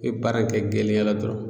I be baara in kɛ gɛlɛya la dɔrɔn